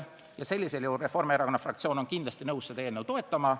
Selle ettepaneku arvestamisel on Reformierakonna fraktsioon kindlasti nõus seda eelnõu toetama.